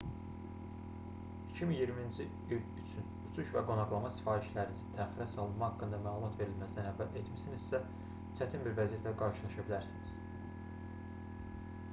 2020-ci il üçün uçuş və qonaqlama sifarişlərinizi təxirə salınma haqqında məlumat verilməzdən əvvəl etmisinizsə çətin bir vəziyyətlə qarşılaşa bilərsiniz